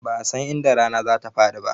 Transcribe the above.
Ba'a san inda rana za ta faɗi ba